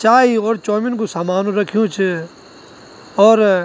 चाई और चौमिन कु सामान रख्युं च और --